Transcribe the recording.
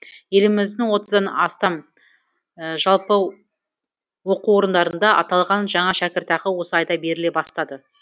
еліміздің отыздан астам жалпы оқу орындарында аталған жаңа шәкіртақы осы айда беріле бастады